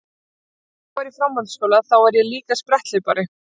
Þegar ég var í framhaldsskóla þá var ég líka spretthlaupari.